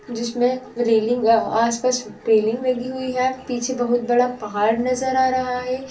जिसमें रेलिंग अ आस-पास रेलिंग लगी हुई है पीछे बहुत बड़ा पहाड़ नजर आ रहा है।